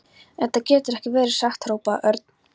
En þetta getur ekki verið satt hrópaði Örn.